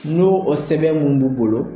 Nu o sɛbɛn mun b'u bolo.